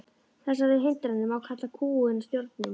Þessar hindranir má kalla kúgun og stjórnun.